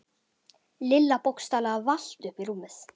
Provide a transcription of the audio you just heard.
Lilla bókstaflega valt upp í rúmið.